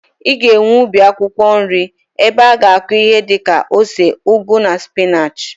I ga-enwe ubi akwụkwọ nri ebe i ga-akụ ihi di ka ose, ugu na spinach.